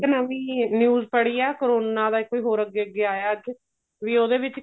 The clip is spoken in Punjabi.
ਇੱਕ ਨਵੀਂ news ਪੜੀ ਏ ਕਰੋਨਾ ਦਾ ਕੋਈ ਹੋਰ ਅੱਗੇ ਅੱਗੇ ਆਇਆ ਵੀ ਉਹਦੇ ਵਿੱਚ